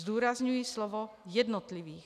Zdůrazňuji slovo jednotlivých.